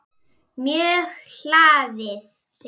Mjög hlaðið segir hún.